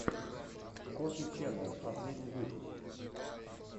коффи ченнэл последний выпуск